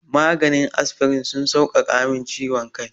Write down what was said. Maganin asfirin sun sauƙaƙa min ciwon kai.